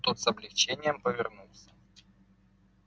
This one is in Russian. тот с облегчением повернулся